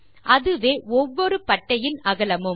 அதுவே ஒவ்வொரு பட்டையின் அகலமும்